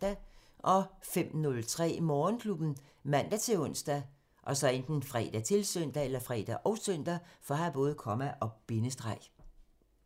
05:03: Morgenklubben ( man-ons, fre, -søn)